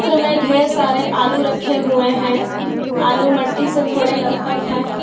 चित्र में ढेर सारे आलू रखे है आलू मट्टी से थोड़े लत-पत है।